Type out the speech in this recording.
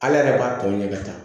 Ala yɛrɛ b'a tɔ ɲini ka taa